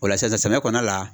O la sisan sisan samiya kɔnɔna la